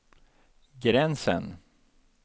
gränsen